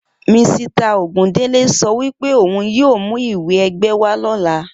Misita Ògúndélé so wípé ohun yíò mú ìwé ẹgbẹ́ wá lóla